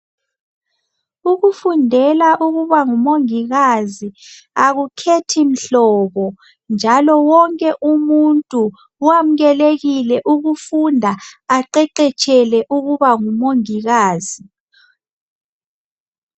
Ukufundela ukubangumongikazi akukhethi mhlobo njalo wonke umuntu wamukelekile ukufunda aqeqetshele ukuba ngumongikazi.